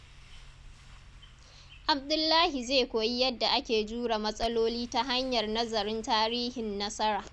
Abdullahi zai koyi yadda ake jure matsaloli ta hanyar nazarin tarihin nasara.